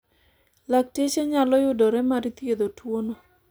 lakteche nyalo yudore mar thiedho tuono